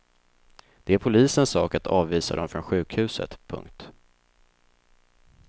Det är polisens sak att avvisa dem från sjukhuset. punkt